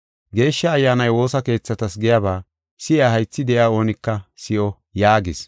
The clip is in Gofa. Geeshsha Ayyaanay woosa keethatas giyaba si7iya haythi de7ey oonika si7o” yaagis.